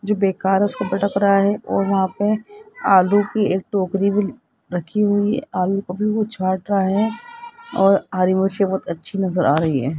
जो बेकार उसको भटक रहा है और वहां पे आलू की एक टोकरी भी रखी हुई छाट रहा है और हरी मुझे बहुत अच्छी नजर आ रही है।